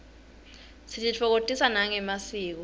sititfokotisa nangemasiko